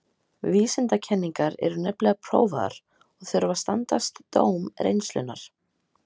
Vísindakenningar eru nefnilega prófaðar og þurfa að standast dóm reynslunnar.